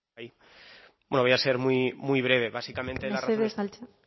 bai bueno voy a ser muy breve básicamente mesedez altxatu